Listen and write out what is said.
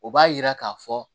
O b'a yira k'a fɔ